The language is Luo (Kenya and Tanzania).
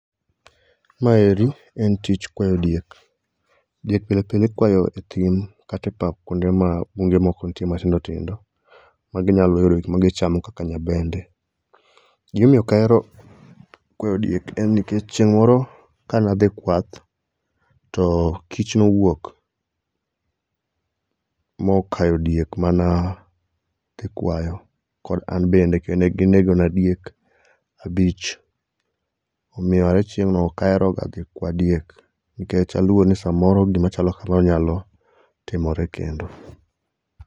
Maendi en tich kwayo diek. Diek pile pile ikwayo e thim kata e pap kuonde ma bunge moko nitie matindo tindo ma ginyalo yudo gima gichamo kaka nyabende. Gima omiyo ok ahero kwayo diek en ni chieng' moro kane adhi kwath, to kich nowuok mokayo diek mane ikwayo kod an bende ne ginegonua diek abich, Omiyo aye chieng'no ok aheroga kwa diek nikech aluor ni gima chalo kamano nyalo chako timore kendo..